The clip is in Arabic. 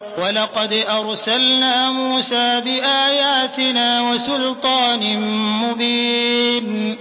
وَلَقَدْ أَرْسَلْنَا مُوسَىٰ بِآيَاتِنَا وَسُلْطَانٍ مُّبِينٍ